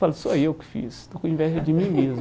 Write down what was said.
Falo, sou eu que fiz, estou com inveja de mim mesmo.